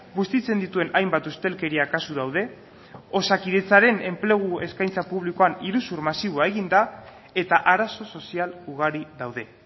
bustitzen dituen hainbat ustelkeria kasu daude osakidetzaren enplegu eskaintza publikoan iruzur masiboa egin da eta arazo sozial ugari daude